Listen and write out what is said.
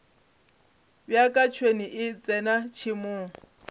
bjaka tšhwene e tsena tšhemong